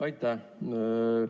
Aitäh!